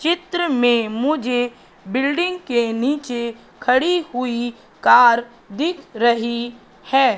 चित्र में मुझे बिल्डिंग के नीचे खड़ी हुई कार दिख रही है।